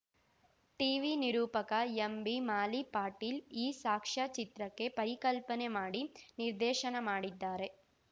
TV ನಿರೂಪಕ ಎಂಬಿಮಾಲಿಪಾಟೀಲ್‌ ಈ ಸಾಕ್ಷ್ಯಚಿತ್ರಕ್ಕೆ ಪರಿಕಲ್ಪನೆ ಮಾಡಿ ನಿರ್ದೇಶನ ಮಾಡಿದ್ದಾರೆ